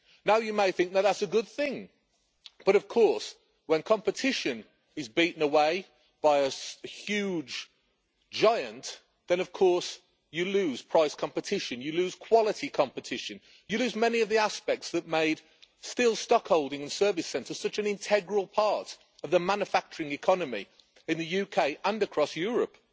Now you might think that that's a good thing, but when competition is beaten away by a huge giant then you lose price competition, you lose quality competition, you lose many of the aspects that made steel stock holding and service centres such an integral part of the manufacturing economy in the UK and across Europe.